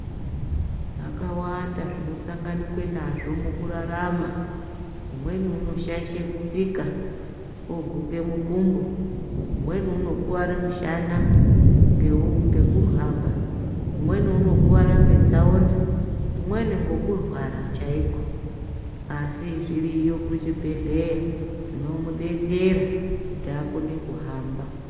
Zvakawanda zvinosanganikwe nazvo mukurarama. Umweni unoshaishe kutsika woguke mukumbo. Umweni unokuware mushana ngekuhamba, umweni unokuara ngetsaona. Umweni ngekurwara chaiko, asi zviriyo kuzvibhedhleya zvinomudetsera kuhamba.